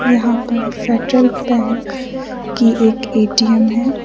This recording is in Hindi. यहां पर फेडरल बैंक की एक ए_टी_एम है।